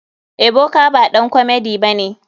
Ebuka baɗan komedi bane.